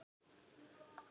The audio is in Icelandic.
En eruð þið orðnir ríkir?